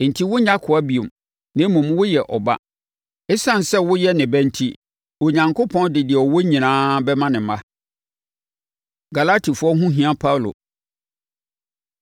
Enti, wonyɛ akoa bio, na mmom woyɛ ɔba. Esiane sɛ woyɛ ne ba enti, Onyankopɔn de deɛ ɔwɔ nyinaa bɛma ne mma. Galatifoɔ Ho Hia Paulo